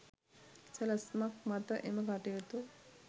සැලැස්මක් මත එම කටයුතු